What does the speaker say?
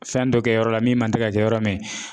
Fɛn dɔ kɛ yɔrɔ la min man tɛ ka kɛ yɔrɔ min.